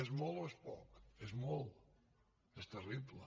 és molt o és poc és molt és terrible